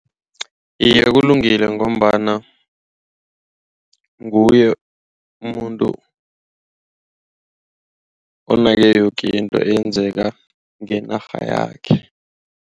Iye kulungile ngombana nguye umuntu onake yoke into eyenzeka ngeenarha yakhe.